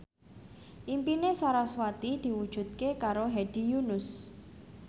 impine sarasvati diwujudke karo Hedi Yunus